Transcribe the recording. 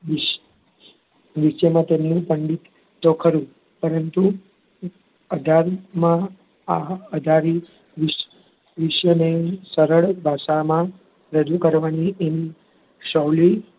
નીચેમાં તેનું પંડિત તો ખરું જ પરંતુ અઢારમાં આ અઢારી વિ~વિશ્વને સરળ ભાષામાં રજુ કરવાની એમ શૌલી,